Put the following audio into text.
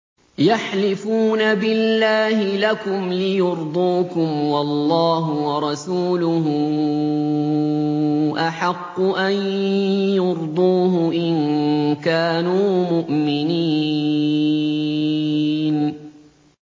يَحْلِفُونَ بِاللَّهِ لَكُمْ لِيُرْضُوكُمْ وَاللَّهُ وَرَسُولُهُ أَحَقُّ أَن يُرْضُوهُ إِن كَانُوا مُؤْمِنِينَ